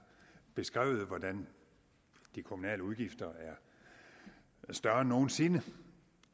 beskrevet hvordan de kommunale udgifter er større end nogen sinde